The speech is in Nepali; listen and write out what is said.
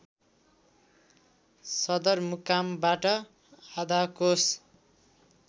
सदरमुकामबाट आधा कोस